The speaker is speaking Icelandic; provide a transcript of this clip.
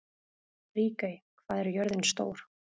Ríkey, hvað er jörðin stór?